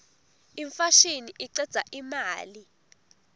imfashini icedza imali